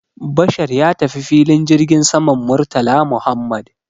Bashar ya tafi filin jirgin saman Murtala Muhammad